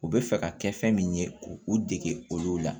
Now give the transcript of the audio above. U bɛ fɛ ka kɛ fɛn min ye k'u dege olu la